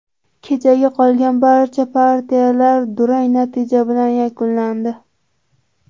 Kechagi qolgan barcha partiyalar durang natija bilan yakunlandi.